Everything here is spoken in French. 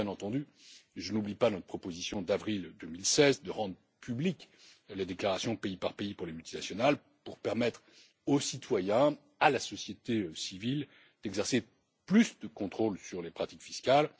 Et bien entendu, je n'oublie pas notre proposition d'avril 2016 de rendre publiques les déclarations pays par pays pour les multinationales pour permettre aux citoyens et à la société civile d'exercer plus de contrôle sur les pratiques fiscales.